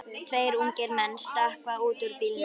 Tveir ungir menn stökkva út úr bílnum.